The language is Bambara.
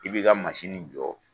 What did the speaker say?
I bɛ ka mansini jɔ